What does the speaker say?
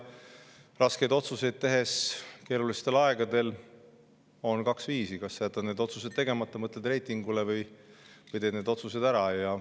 Keerulistel aegadel on raskete otsuste puhul kaks: kas jätad otsused tegemata, mõtled reitingule, või teed need otsused ära.